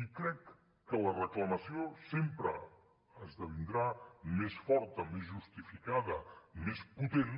i crec que la reclamació sempre esdevindrà més forta més justificada més potent